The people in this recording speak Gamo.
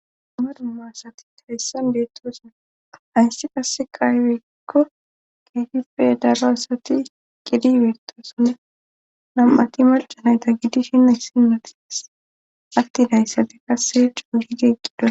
amaruma asati hayssan beettosina ayssi qase qaayweykko keefippe daro asati qidi beetosonne nam7ati malcanayta giddishin a sinmatis attidayssate qasse cuuyigeeqqidoa